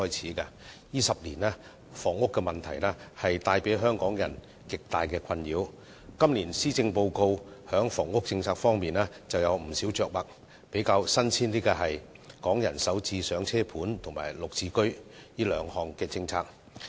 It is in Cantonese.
在這10年間，房屋問題為香港人帶來極大困擾，今年施政報告在房屋政策方面有不少着墨，包括"港人首置上車盤"及"綠置居"兩項新政策。